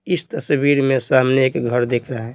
इस तस्वीर में सामने एक घर देख रहा है।